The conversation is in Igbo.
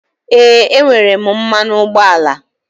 Ee, enwere m mmanụ ụgbọala.